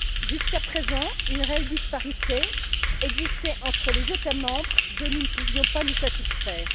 Jusqu'à présent, une réelle disparité existait entre les États membres, et nous ne pouvions nous en satisfaire.